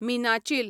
मिनाचील